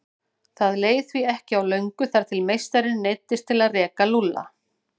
Það leið því ekki á löngu þar til meistarinn neyddist til að reka Lúlla.